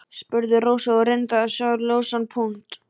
spurði Rósa og reyndi að sjá ljósan punkt.